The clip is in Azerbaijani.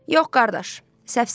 Yox, qardaş, səfsən.